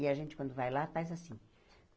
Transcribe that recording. E a gente, quando vai lá, faz assim.